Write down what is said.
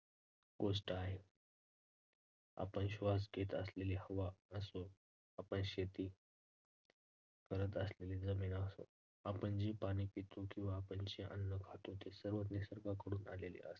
गोष्ट आहे. आपण श्वास घेत असलेली हवा असो, आपण शेती करत असलेली जमीन असो, आपण जे पाणी पितो किंवा आपण जे अन्न खातो ते सर्व निसर्गाकडून आलेले असते.